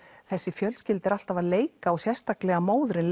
þessi fjölskylda er alltaf að leika sérstaklega móðirin